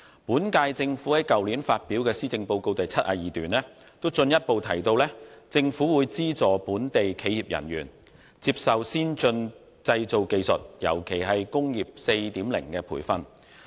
本屆政府於去年發表的施政報告第72段進一步提到，政府會"資助本地企業人員接受先進製造技術，尤其是'工業 4.0' 的培訓"。